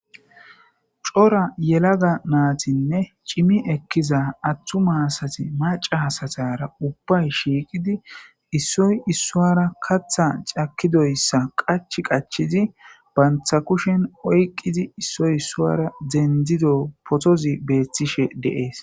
cora yelaga naatinne cimi ekkiza attu maasati maca hasatara ubbay shiiqidi issoy issuwara katha cakidoyssa qach qachizi bantha kushen oyqqidi issoy issuara dendido potozi beethtishe deees